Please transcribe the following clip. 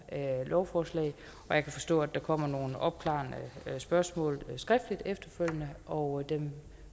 lovforslag jeg kan forstå at der kommer nogle opklarende spørgsmål skriftligt efterfølgende og dem